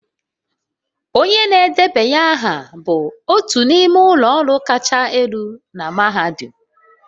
Onye na-edebanye aha bụ otu n'ime ụlọ ọrụ kachasị elu na mahadum